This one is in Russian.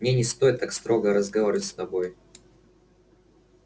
мне не стоит так строго разговаривать с тобой